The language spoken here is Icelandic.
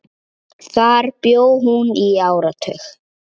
Þar bjó hún í áratug.